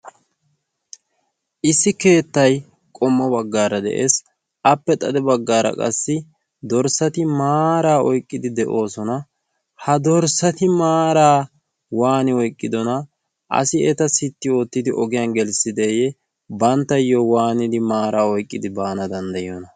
issi keettai qommo baggaara de7ees. appe xade baggaara qassi dorssati maaraa oiqqidi de7oosona. ha dorssati maaraa waani oiqqidona? asi eta sitti oottidi ogiyan gelissideeyye? banttayyo waanidi maaraa oiqqidi baana danddayiyoona?